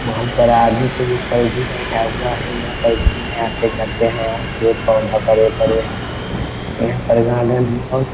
बहुत बड़ा आदमी सब कोई पे यहाँ पर बैठा हुआ हैं यहाँ पर घूमने आते-जाते हैं और पेड़-पौधा बड़े-बड़े हैं यहाँ प्रधान